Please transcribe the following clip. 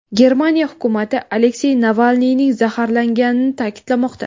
Germaniya hukumati Aleksey Navalniyning zaharlanganini ta’kidlamoqda.